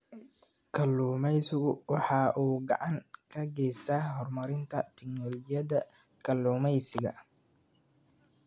Kalluumaysigu waxa uu gacan ka geystaa horumarinta tignoolajiyada kalluumaysiga.